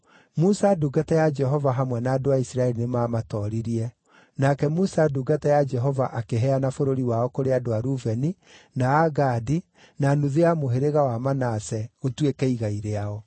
Musa ndungata ya Jehova hamwe na andũ a Isiraeli nĩmamatooririe. Nake Musa ndungata ya Jehova akĩheana bũrũri wao kũrĩ andũ a Rubeni, na a Gadi, na nuthu ya mũhĩrĩga wa Manase, gũtuĩke igai rĩao.